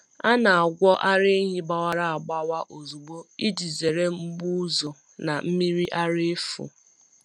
A na-agwọ ara ehi gbawara agbawa ozugbo iji zere mgbu ọzọ na mmiri ara efu.